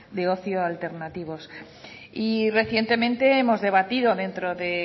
de ocio alternativos y recientemente hemos debatido dentro de